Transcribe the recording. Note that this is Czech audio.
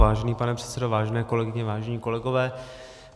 Vážený pane předsedo, vážené kolegyně, vážení kolegové.